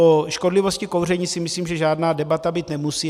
O škodlivosti kouření si myslím, že žádná debata být nemusí.